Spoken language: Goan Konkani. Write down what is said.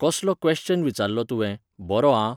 कसलो क्वॅश्चन विचारलो तुंवें, बरो आं